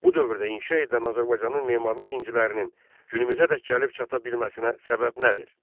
Bu dövrdə inşa edilən Azərbaycanın memarlıq incilərinin günümüzədək gəlib çata bilməsinə səbəb nədir?